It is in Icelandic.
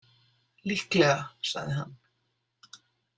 Líklega, sagði hann.